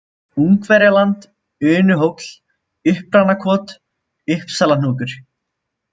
Ungverjaland, Unuhóll, Uppranakot, Uppsalahnúkur